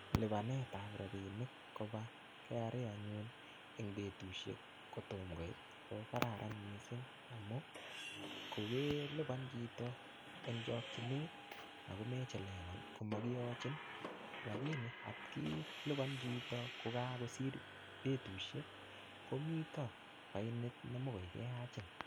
Lipanetab rabinik koba KRA anyun en betushek koyom koit ko kararan missing amun kokelipan chito en chokinet komechelewan komokiyochin lakini at kelipan chito ko kakosir betishek komito fainit nemokor keyachin.